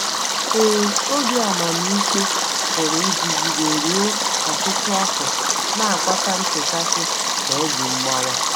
Ee, obi amamikpe pụrụ ịdịgide ruo ọtụtụ afọ, na - akpata nchekasị na obi mgbawa.